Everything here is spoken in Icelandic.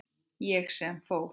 Ég sem fór.